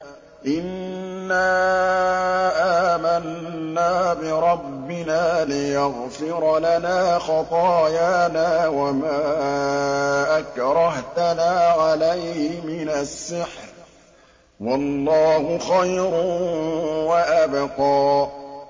إِنَّا آمَنَّا بِرَبِّنَا لِيَغْفِرَ لَنَا خَطَايَانَا وَمَا أَكْرَهْتَنَا عَلَيْهِ مِنَ السِّحْرِ ۗ وَاللَّهُ خَيْرٌ وَأَبْقَىٰ